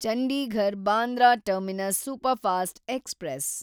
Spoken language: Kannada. Chandigarh Bandra terminus superfast express